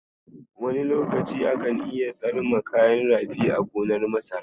Wani lokaci akan iya tsarma kayan rafi a gonar masara.